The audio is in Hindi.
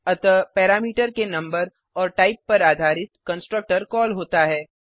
अतः पैरामीटर के नंबर और टाइप पर आधारित कंस्ट्रक्टर कॉल होता है